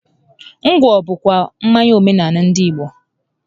Ngwọ bụ kwa mmanya omenaala ndị Igbo